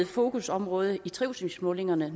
fokusområde i trivselsmålingerne